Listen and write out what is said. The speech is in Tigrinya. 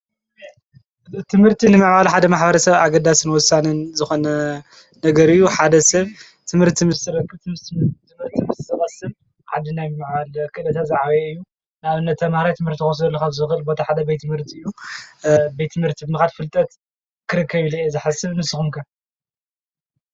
እእትምህርቲ ንመዓሉ ሓደ ማኅባረ ሰብ ኣገዳስ ንወሳንን ዝኾነ ነገር እዩ ሓደ ሰብ ትምህር ትምሥረክ ትምም በርትምዝሰበስብ ዓዲ ናብመዓል ኽልተ ዘዓበየ እዩ ናእ ነቲ ማራይ ትምህርቲ ወስዶ ለኻፍ ዘኽል ቦታሓደ ቤይትምህርት እዩ ቤይትምህርቲ ብምኻድ ፍልጠት ክርከብልየ ዘሓስብ ንስኹንከን?